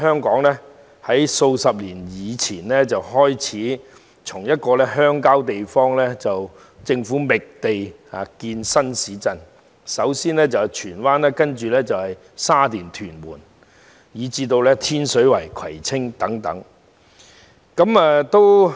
然而，自數十年前開始，政府在鄉郊覓地建設新市鎮，首先是荃灣，接着是沙田、屯門，以至天水圍、葵青等地。